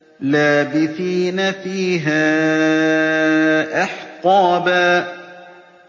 لَّابِثِينَ فِيهَا أَحْقَابًا